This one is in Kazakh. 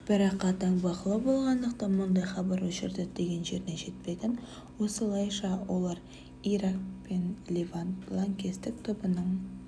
бірақ қатаң бақылау болғандықтан мұндай хабар-ошар діттеген жеріне жетпеген осылайша олар ирак пен левант лаңкестік тобының